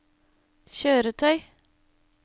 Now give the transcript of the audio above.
kjøretøy